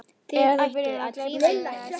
Er þetta byrjun á glæpasögu eða hvað?